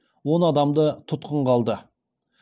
он адамды тұтқынға алды